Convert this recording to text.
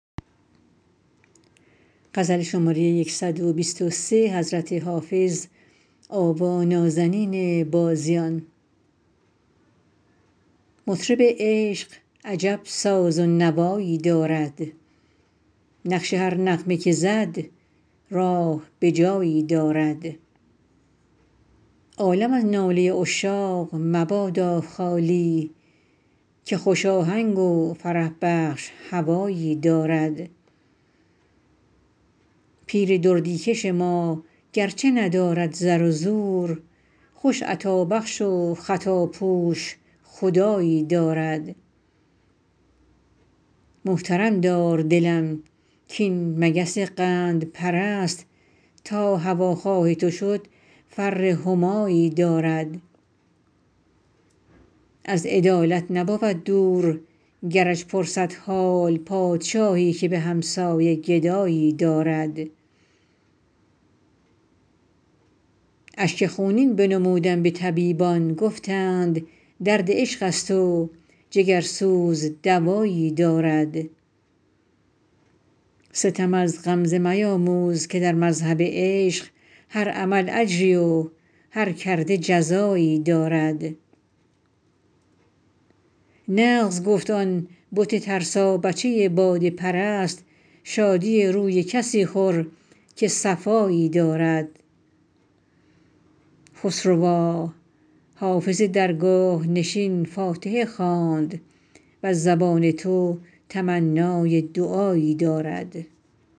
مطرب عشق عجب ساز و نوایی دارد نقش هر نغمه که زد راه به جایی دارد عالم از ناله عشاق مبادا خالی که خوش آهنگ و فرح بخش هوایی دارد پیر دردی کش ما گرچه ندارد زر و زور خوش عطابخش و خطاپوش خدایی دارد محترم دار دلم کاین مگس قندپرست تا هواخواه تو شد فر همایی دارد از عدالت نبود دور گرش پرسد حال پادشاهی که به همسایه گدایی دارد اشک خونین بنمودم به طبیبان گفتند درد عشق است و جگرسوز دوایی دارد ستم از غمزه میاموز که در مذهب عشق هر عمل اجری و هر کرده جزایی دارد نغز گفت آن بت ترسابچه باده پرست شادی روی کسی خور که صفایی دارد خسروا حافظ درگاه نشین فاتحه خواند وز زبان تو تمنای دعایی دارد